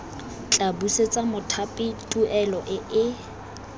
tla busetsa mothapi tuelo eo